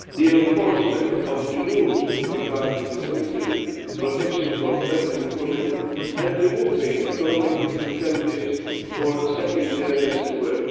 the enforcement of the rules with regard to dismissal protection for pregnant women and removing economic disincentives for second earners to work.